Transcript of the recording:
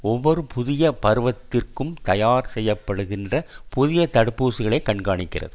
ஒவ்வொரு புதிய பருவத்திற்கும் தயார் செய்யப்டுகின்ற புதிய தடுப்பூசிகளை கண்காணிக்கிறது